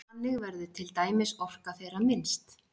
Þannig verður til dæmis orka þeirra minnst.